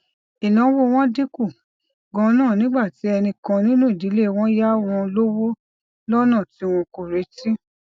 ìnáwó wọn dín kù ganan nígbà tí ẹnì kan nínú ìdílé wọn yá wọn lówó lónà tí wọn kò retí